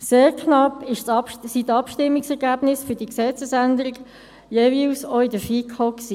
Sehr knapp waren die Abstimmungsergebnisse für die Gesetzesänderung jeweils auch in der FiKo.